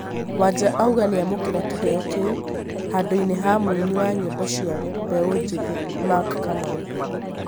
wanja auga niamukĩra kĩheo kĩu, handũ-inĩ ha mũini wa nyĩmbo cĩa mbeũ njithi mac Kamau